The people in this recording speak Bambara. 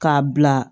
K'a bila